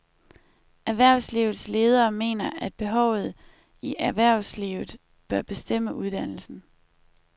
Erhvervslivets ledere mener, at behovet i erhvervslivet bør bestemme uddannelsen.